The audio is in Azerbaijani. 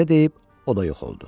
Belə deyib, o da yox oldu.